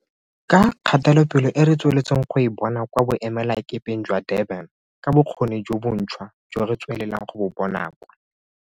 Ka kgatelopele e re tsweletseng go e bona kwa boemelakepeng jwa Durban, ka bokgoni jo bontšhwa jo re tswelelang go bo bona kwa.